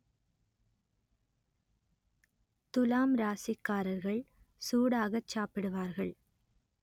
துலாம் ராசிக்காரர்கள் சூடாகச் சாப்பிடுவார்கள்